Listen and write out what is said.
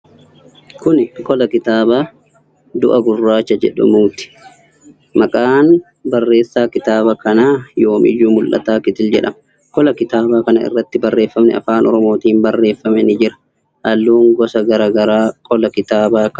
Kuni qola kiyaabaa 'Du'a Gurraacha' jedhamuuti. Maqaan barreessaa kitaaba kanaa Yoomiyyuu Mul'ataa Kitil jedhama. Qola kitaabaa kana irratti barreeffamni afaan Oromootin barreeffame ni jira. Halluun gosa garagaraa qola kitaabaa kana irratti ni jiru.